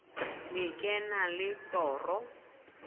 le ke na le toro